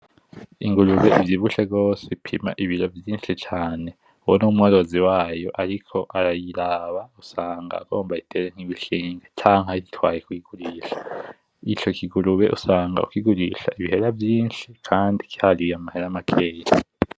Ingurube ivyibushe gose ipima ibiro vyinshi cane. Uwo ni umworozi wayo ariko arayiraba usanga agomba ayitere nk'urushinge canke ayitwaye kuyigurisha. Ico kigurube usanga ukigurisha ibihera vyisnhi kandi cariye amahera makeya cane.